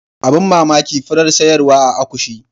Abin mamaki furar sayarwa a akushi.